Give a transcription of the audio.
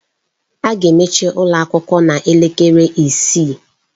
A ga-emechi ụlọ akwụkwọ a n'elekere isii.